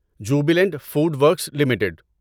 Jubilant Food Works limited